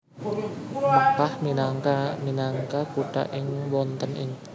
Makkah minangka minangka kutha ingkang wonten ing Arab Saudi